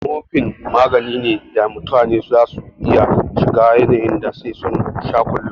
Morphine magani ne da mutane za su iya shiga yanin da sai sun sha kullun